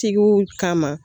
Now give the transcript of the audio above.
Tigiw kama.